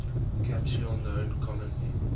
capsule known commonly